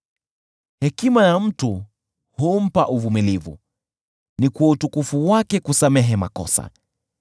Hekima ya mtu humpa uvumilivu, ni kwa utukufu wake kusamehe makosa.